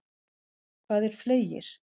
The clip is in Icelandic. Hvað er fleygir?